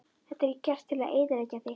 Þetta er gert til að eyðileggja þig